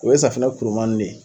O ye safinɛ kuruman nunnu de ye